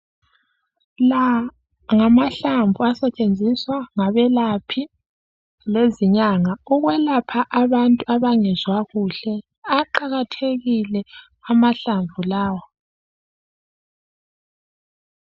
La ngamahlamvu asetshenziswa ngabelaphi lezinyanga ukwelapha abantu abangezwa kuhle. Aqakathekile amahlamvu lawa.